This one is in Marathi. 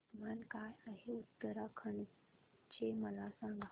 तापमान काय आहे उत्तराखंड चे मला सांगा